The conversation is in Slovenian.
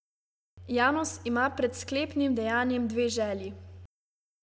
Janus ima pred sklepnim dejanjem dve želji.